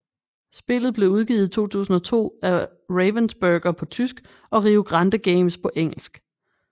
Spillet blev udgivet i 2002 af Ravensburger på tysk og Rio Grande Games på engelsk